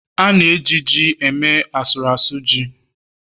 a na-eji ji eme ihe n' asụru asu ji